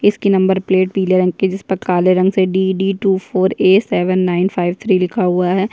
इसकी number plate पिले रंग की है जिस पर काले रंग से D D two four A seven nine five three लिखा हुआ है।